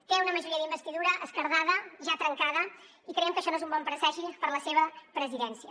té una majoria d’investidura esquerdada ja trencada i creiem que això no és un bon presagi per a la seva presidència